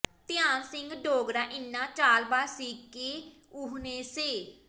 ਧਿਆਨ ਸਿੰਘ ਡੋਗਰਾ ਇੰਨਾ ਚਾਲਬਾਜ਼ ਸੀ ਕਿ ਉਹਨੇ ਸ